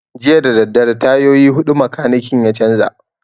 Jiya dadadare tayoyi huɗu makanikin ya canza